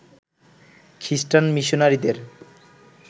খ্রিষ্টান মিশনারিদের